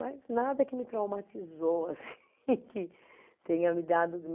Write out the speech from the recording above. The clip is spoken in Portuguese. Mas nada que me traumatizou, assim, que tenha me dado, me